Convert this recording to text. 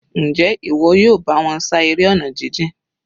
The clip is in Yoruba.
Njẹ́ ìwọ yóò bá wọn ṣá eré ọ̀nà jijìn?